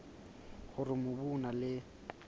hore mobu o na le